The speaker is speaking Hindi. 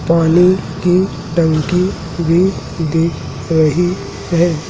पानी की टंकी भी दिख रही है।